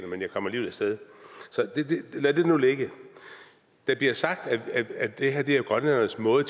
men jeg kom alligevel af sted så lad det nu ligge der bliver sagt at det her er grønlændernes måde